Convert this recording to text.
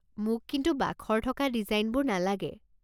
মোক কিন্তু বাখৰ থকা ডিজাইনবোৰ নালাগে।